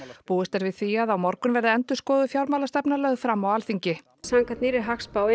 búist er við því að á morgun verði endurskoðuð fjármálastefna lögð fram á Alþingi samkvæmt nýrri hagspá